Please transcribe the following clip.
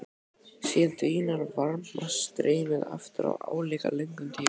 Síðan dvínar varmastreymið aftur á álíka löngum tíma.